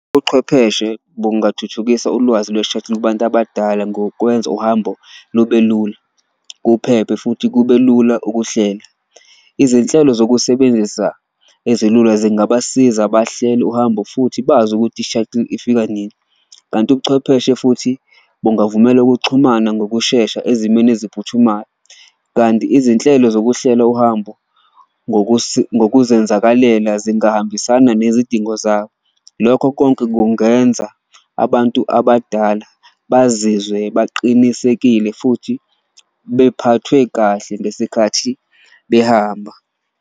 Ubuchwepheshe bungathuthukisa ulwazi lwe-shuttle kubantu abadala ngokwenza uhambo lube lula, kuphephe futhi kube lula ukuhlela. Izinhlelo zokusebenzisa ezilula zingabasiza bahlele uhambo futhi bazi ukuthi i-shuttle ifika nini, kanti ubuchwepheshe futhi bungavumela ukuxhumana ngokushesha ezimweni eziphuthumayo. Kanti izinhlelo zokuhlela uhambo ngokuzenzakalela zingahambisana nezidingo izinto zabo, lokho konke kungenza abantu abadala bazizwe baqinisekile futhi bephathwe kahle ngesikhathi behamba.